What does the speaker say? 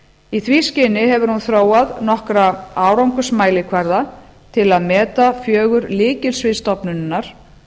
í því skyni hefur hún þróað nokkra árangursmælikvarða til að meta fjögur lykilsvið stofnunarinnar